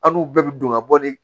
Hali n'u bɛɛ bɛ don ka bɔ ni